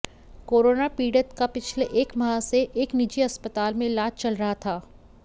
corona पीड़ित का पिछले एक माह से एक निजी अस्पताल में इलाज चल रहा था